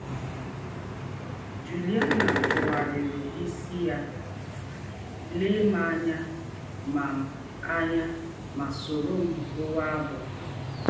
Jụliana tụgharịrị isi ya, lee m anya ma m anya ma sọrọ m gụwa abụ!